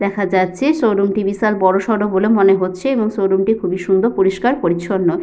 দেখা যাচ্ছে। শোরুম -টি বিশাল বড়সড় বলে মনে হচ্ছে এবং শোরুম -টি খুবই সুন্দর পরিস্কার পরিচ্ছন্ন।